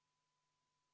Austatud esimees!